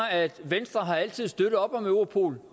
at venstre altid har støttet op om europol